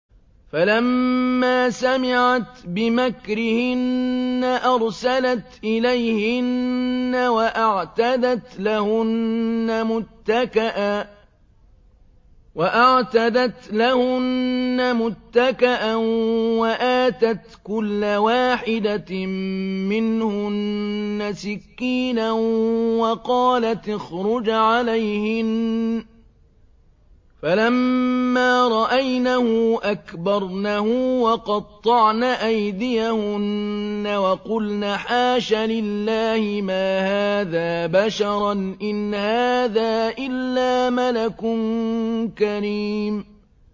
فَلَمَّا سَمِعَتْ بِمَكْرِهِنَّ أَرْسَلَتْ إِلَيْهِنَّ وَأَعْتَدَتْ لَهُنَّ مُتَّكَأً وَآتَتْ كُلَّ وَاحِدَةٍ مِّنْهُنَّ سِكِّينًا وَقَالَتِ اخْرُجْ عَلَيْهِنَّ ۖ فَلَمَّا رَأَيْنَهُ أَكْبَرْنَهُ وَقَطَّعْنَ أَيْدِيَهُنَّ وَقُلْنَ حَاشَ لِلَّهِ مَا هَٰذَا بَشَرًا إِنْ هَٰذَا إِلَّا مَلَكٌ كَرِيمٌ